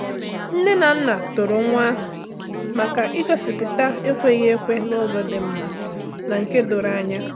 Nne na nna toro nwa ahụ maka igosipụta ekweghi ekwe n'ụzọ dị mma na nke doro anya.